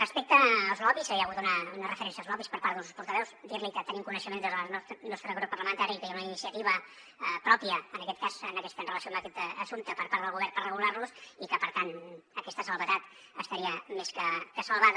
respecte als lobbies hi ha hagut una referència als lobbiesveus dir li que tenim coneixement des del nostre grup parlamentari que hi ha una iniciativa pròpia en aquest cas en relació a aquest assumpte per part del govern per regular los i que per tant aquesta condició estaria més que salvada